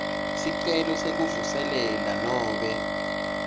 sicelo sekuvuselela nobe